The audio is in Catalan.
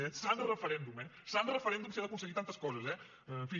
eh sant referèndum eh sant referèndum si ha d’aconseguir tantes coses eh en fi